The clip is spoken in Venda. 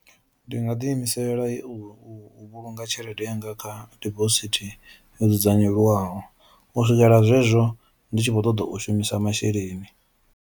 ndi nga ḓi imisela u u u vhulunga tshelede yanga kha dibosithi yo dzudzanyeliwaho u swikela zwezwo ndi tshi vho ṱoḓo u shumisa masheleni.